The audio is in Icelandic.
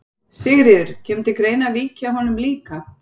Sigríður: Kemur til greina að víkja honum líka?